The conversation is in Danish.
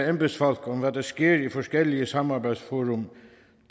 embedsfolk om hvad der sker i forskellige samarbejdsfora